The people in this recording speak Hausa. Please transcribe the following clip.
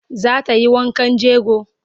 Za ta yi wankan jego?